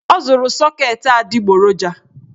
Ọ zụrụ sọket adịgboroja